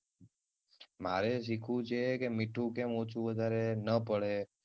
મારે સિખવું છે કે મીઠું કેમ ઓછું વધારે ન પડે.